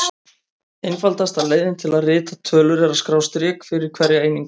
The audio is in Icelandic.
Einfaldasta leiðin til að rita tölur er að skrá strik fyrir hverja einingu.